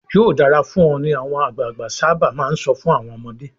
"Yóò dára fún ọ" ni àwọn àgbàgbà sábà máa ń sọ fún àwọn ọmọdé.